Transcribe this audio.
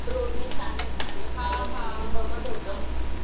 रोडनी चालत चालत चालत वगैरे बघत होतो.